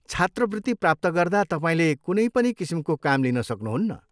छात्रवृत्ति प्राप्त गर्दा तपाईँले कुनै पनि किसिमको काम लिन सक्नुहुन्न।